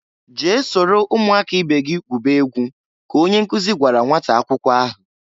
"Jee soro umu aka ibe gị gwube egwu!" ka onye nkụzị gwara nnwata akwụkwọ ahụ.